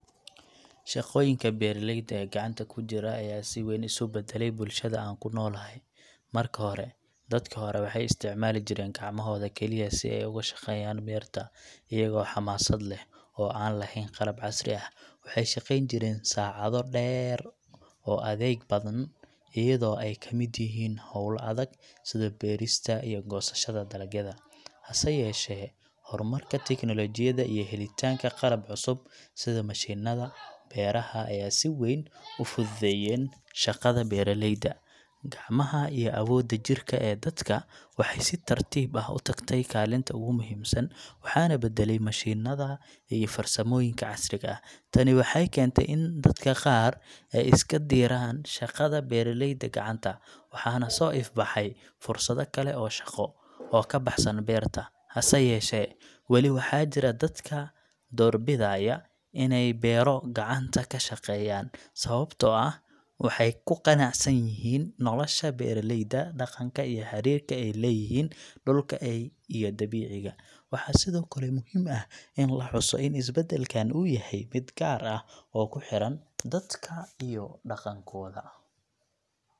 Shaqooyinka beeraleyda ee gacanta ku jira ayaa si weyn u isbedelay bulshada aan ku noolahay. Marka hore, dadkii hore waxay isticmaali jireen gacmahooda kaliya si ay uga shaqeeyaan beerta, iyagoo xamaasad leh oo aan lahayn qalab casri ah. Waxay shaqeyn jireen saacado dheer oo adkeyd, badanaa iyadoo ay ka mid yihiin hawlo adag sida beerista iyo goosashada dalagyada. Hase yeeshee, horumarka tignoolajiyada iyo helitaanka qalab cusub sida mashiinada beeraha ayaa si weyn u fududeyeen shaqada beeralayda. Gacmaha iyo awooda jidhka ee dadka waxay si tartiib ah u tagtay kaalinta ugu muhiimsan, waxaana badalay mashiinada iyo farsamooyinka casriga ah. Tani waxay keentay in dadka qaar ay iska diraan shaqada beeralayda gacanta, waxaana soo ifbaxay fursado kale oo shaqo oo ka baxsan beerta. Hase yeeshee, weli waxaa jira dadka doorbidaya inay beero gacanta ka shaqeeyaan, sababtoo ah waxay ku qanacsan yihiin nolosha beeraleyda dhaqanka iyo xiriirka ay leeyihiin dhulka iyo dabiiciga. Waxaa sidoo kale muhiim ah in la xuso in isbeddelkan uu yahay mid gaar ah oo ku xiran dadka iyo dhaqankooda.